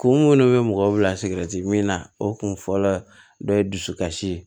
Kunkolo bɛ mɔgɔw bila min na o kun fɔlɔ dɔ ye dusu kasi ye